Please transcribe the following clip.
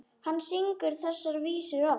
Hann syngur þessar vísur oft.